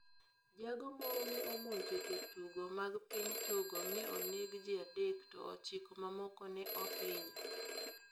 Jago moro ne omonjo jotugo mag piny Togo mi oneg ji adek to ochiko mamoko ne ohinyo.